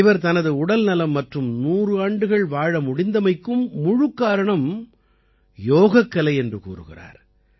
இவர் தனது உடல்நலம் மற்றும் 100 ஆண்டுகள் வாழ முடிந்தமைக்கும் முழுக்காரணம் யோகக்கலை என்று கூறுகிறார்